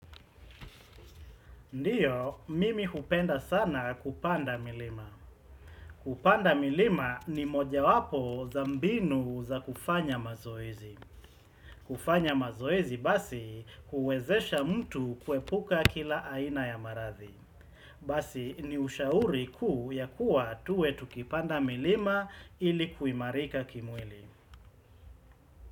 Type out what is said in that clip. Ndiyo, mimi hupenda sana kupanda milima. Kupanda milima ni moja wapo za mbinu za kufanya mazoezi. Kufanya mazoezi basi, huwezesha mtu kuepuka kila aina ya maradhi. Basi, ni ushauri kuu ya kuwa tuwe tukipanda milima ili kuimarika kimwili.